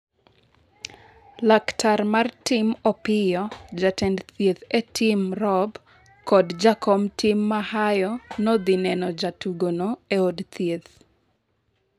laktar mar tim Opiyo, jatend thieth e tim Rob kod jakom tim Mahayo nodhi neno jatugono eod thieth